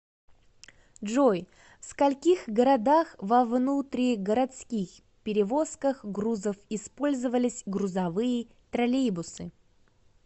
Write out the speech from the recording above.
джой в скольких городах во внутригородских перевозках грузов использовались грузовые троллейбусы